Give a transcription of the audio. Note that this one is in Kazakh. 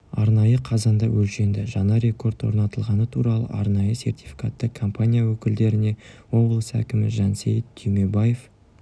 арнайы қазанда өлшенді жаңа рекорд орнатылғаны туралы арнайы сертификатты компания өкілдеріне облыс әкімі жансейіт түймебаев